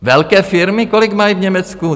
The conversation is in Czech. Velké firmy, kolik mají v Německu?